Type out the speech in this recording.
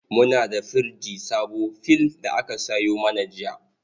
Muna da firji sabo fill da aka sayo mana jiya.